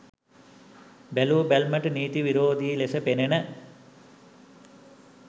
බැලූ බැල්මට නීති විරෝධී ලෙස පෙනෙන